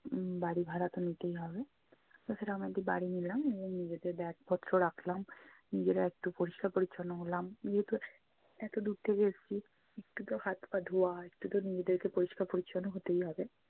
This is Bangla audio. উম বাড়ি ভাড়া তো নিতেই হবে। ওখানে আমাদের বাড়ি নিলাম এবং নিজেদের bag পত্র রাখলাম। নিজেরা একটু পরিষ্কার-পরিছন্ন হলাম। যেহেতু এতো দূর থেকে এসছি, একটু তো হাত-পা ধুয়া একটু তো নিজেদেরকে পরিষ্কার পরিছন্ন হতেই হবে।